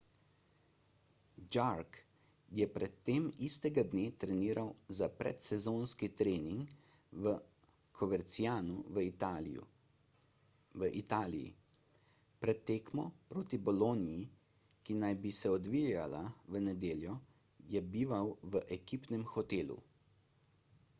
jarque je pred tem istega dne treniral za predsezonski trening v covercianu v italiji pred tekmo proti bologni ki naj bi se odvijala v nedeljo je bival v ekipnem hotelu